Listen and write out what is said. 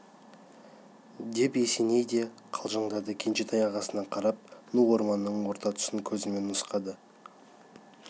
деп есеней де қалжыңдады кенжетай ағасына қарап ну орманның орта тұсын көзімен нұсқады